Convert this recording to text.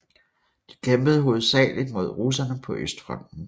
De kæmpede hovedsageligt mod russerne på Østfronten